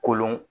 Kolon